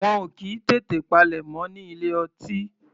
Wọn ò kì í tètè palẹ̀mọ́ ní ilé ọtí.